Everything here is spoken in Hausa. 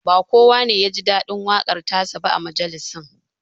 Ba kowa ne ya ji daɗin waƙar ta sa ba a majalisin